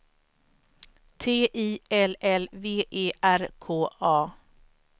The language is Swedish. T I L L V E R K A